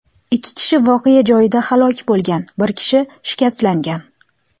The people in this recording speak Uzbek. Ikki kishi voqea joyida halok bo‘lgan, bir kishi shikastlangan.